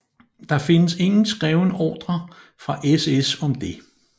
Der findes ingen skreven ordre fra SS om det